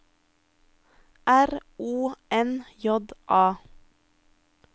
R O N J A